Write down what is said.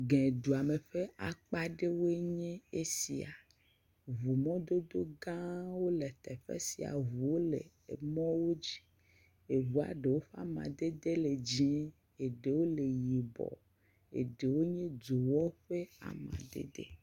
Gɛ duame ƒe akpa ɖewoe nye esia. Ŋu mɔdodogãwo le teƒe sia. Ŋuwo le emɔwo dzi. Eŋua ɖewo ƒe amadedewo le dziẽ, eɖewo le yibɔ. Eɖewo nye dzowɔ ƒe amadede.